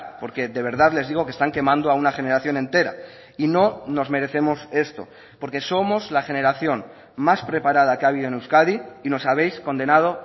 porque de verdad les digo que están quemando a una generación entera y no nos merecemos esto porque somos la generación más preparada que ha habido en euskadi y nos habéis condenado